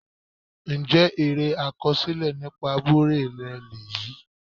Ǹjẹ́ eré àkọsílẹ̀ nípa abúlé rẹ lèyí?